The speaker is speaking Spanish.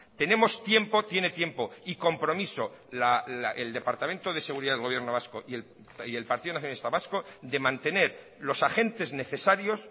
tenemos tiempo tiene tiempo y compromiso el departamento de seguridad del gobierno vasco y el partido nacionalista vasco de mantener los agentes necesarios